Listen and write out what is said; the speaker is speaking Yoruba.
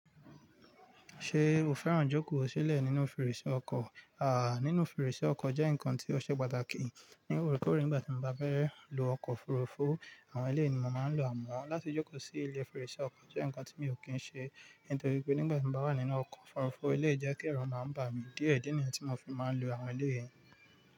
Ṣé o fẹ́ràn jókòó sílẹ̀ nínú fèrèsé ọkọ̀? Àà, nínú fèrèsé ọkọ̀ jẹ́ nǹkan tí ó ṣe pàtàkì. Ní orekoore, nígbà tí mo bá fẹ́ lọ ọkọ̀ òfurufú, àwọn ilé èèyàn ni mo máa ń lo amọ̀ra. Láti jókòó sí ilé fèrèsé ọkọ̀ jẹ́ nǹkan tí mi ò kí ń ṣe, nítorí pé nígbà tí mo bá wà nínú ọkọ̀ òfurufú, ilé ìjẹkírẹ̀ máa ń bà mí díẹ̀ díẹ̀ ní èyí tí mo fi máa ń lo àwọn eléyìí.